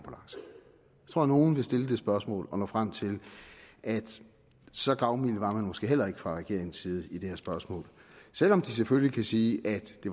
tror nok nogle vil stille det spørgsmål og nå frem til at så gavmilde var man måske heller ikke fra regeringens side i det her spørgsmål selv om de selvfølgelig kan sige at det